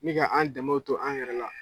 Ni ka an danmew to an yɛrɛ la.